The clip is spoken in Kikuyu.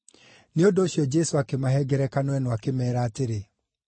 Nĩ ũndũ ũcio Jesũ akĩmahe ngerekano ĩno akĩmeera atĩrĩ: